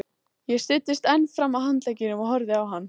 Ég studdist enn fram á handlegginn og horfði á hana.